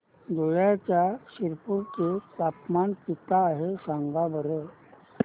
धुळ्याच्या शिरपूर चे तापमान किता आहे सांगा बरं